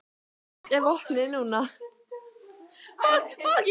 Hvert er vopnið núna?